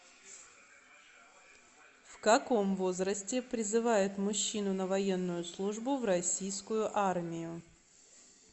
в каком возрасте призывают мужчину на военную службу в российскую армию